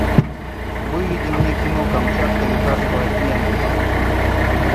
выведи мне кино камчатка лекарство от ненависти